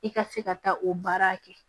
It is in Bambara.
I ka se ka taa o baara kɛ